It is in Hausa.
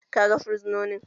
Ka ga fursunonin?